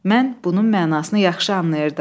Mən bunun mənasını yaxşı anlayırdım.